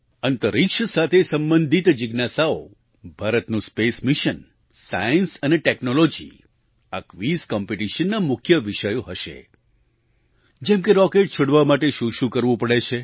અંતરિક્ષ સાથે સંબંધિત જિજ્ઞાસાઓ ભારતનું સ્પેસ મિશન સાયન્સ અને ટૅક્નૉલૉજી આ ક્વિઝ કોમ્પ્ટિશનના મુખ્ય વિષયો હશે જેમ કે રૉકેટ છોડવા માટે શુંશું કરવું પડે છે